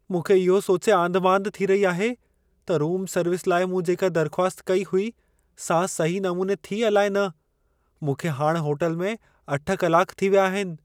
मूंखे इहो सोचे आंधिमांधि थी रही आहे त रूम सर्विस लाइ मूं जेका दर्ख़्वास्त कई हुई सां सही नमूने थी, अलाए न। मूंखे हाणि होटल में 8 कलाक थी विया आहिनि।